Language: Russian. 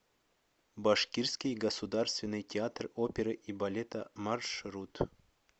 башкирский государственный театр оперы и балета маршрут